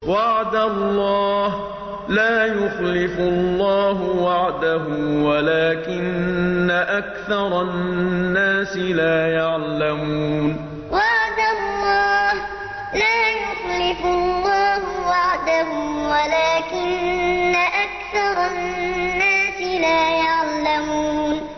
وَعْدَ اللَّهِ ۖ لَا يُخْلِفُ اللَّهُ وَعْدَهُ وَلَٰكِنَّ أَكْثَرَ النَّاسِ لَا يَعْلَمُونَ وَعْدَ اللَّهِ ۖ لَا يُخْلِفُ اللَّهُ وَعْدَهُ وَلَٰكِنَّ أَكْثَرَ النَّاسِ لَا يَعْلَمُونَ